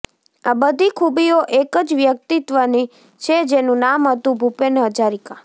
આ બધી ખૂબીઓ એક જ વ્યક્તિત્વની છે જેનું નામ હતું ભૂપેન હજારિકા